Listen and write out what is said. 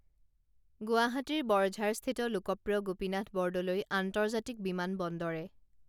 গুৱাহাটীৰ বৰঝাৰস্থিৰ লোকপ্ৰিয় গোপীনাথ বৰদলৈ আন্তৰ্জাতিক বিমান বন্দৰে